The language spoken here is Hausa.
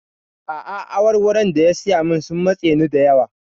A'a, awarwaron da ya saya min sun matse ni da yawa.